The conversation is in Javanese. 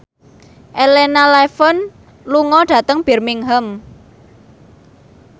Elena Levon lunga dhateng Birmingham